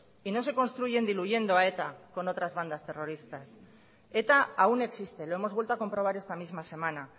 y no se construyen diluyendo a eta con otras bandas terroristas eta aún existe lo hemos vuelto a comprobar esta misma semana